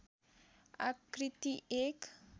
आकृति एक